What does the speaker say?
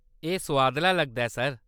एह्‌‌ सुआदला लगदा ऐ, सर।